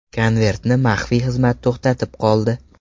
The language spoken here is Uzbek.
Konvertni maxfiy xizmat to‘xtatib qoldi.